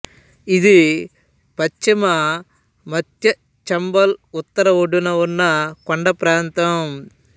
ఇది పశ్చిమ మత్స్య చంబల్ ఉత్తర ఒడ్డున ఉన్న కొండ ప్రాంతం